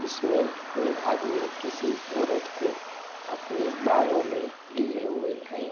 इसमें में आदमी किसी औरत को अपनी बाहों मे लिए हुए है।